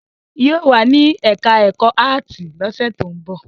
Yóò wà ní ẹ̀ká ẹ̀kọ́ áàtì lọ́sẹ̀ tó ń bọ̀